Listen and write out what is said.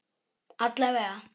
Alla vega.